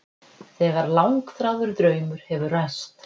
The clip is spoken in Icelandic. Þegar langþráður draumur hefur ræst.